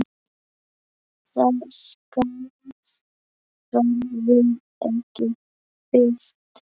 Það skarð verður ekki fyllt.